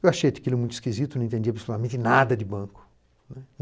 Eu achei aquilo muito esquisito, não entendia, principalmente, nada de banco né.